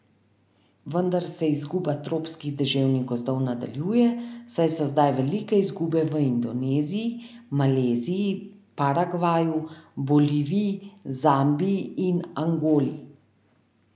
Vendar se izguba tropskih deževnih gozdov nadaljuje, saj so zdaj velike izgube v Indoneziji, Maleziji, Paragvaju, Boliviji, Zambiji in Angoli.